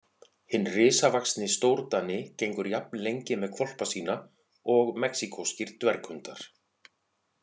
Hinn risavaxni stórdani gengur jafn lengi með hvolpa sína og mexíkóskir dverghundar.